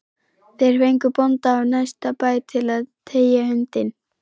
Þeir fengu bónda af næsta bæ til að teygja hundinn